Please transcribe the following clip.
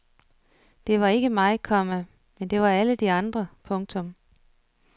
Det var ikke mig, komma men det var alle de andre. punktum